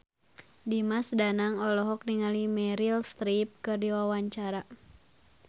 Dimas Danang olohok ningali Meryl Streep keur diwawancara